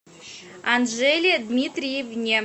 анжеле дмитриевне